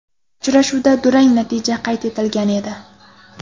Uchrashuvda durang natija qayd etilgan edi.